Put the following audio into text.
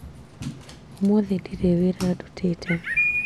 ũmũthĩ ndirĩ wĩra ndutĩte